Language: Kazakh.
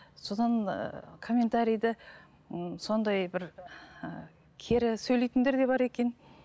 содан ііі комментариді ммм сондай бір ііі кері сөйлейтіндер де бар екен